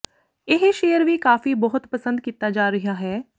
ਇਹ ਸ਼ੇਅਰ ਵੀ ਕਾਫੀ ਬਹੁਤ ਪਸੰਦ ਕੀਤਾ ਜਾ ਰਿਹਾ ਹੈ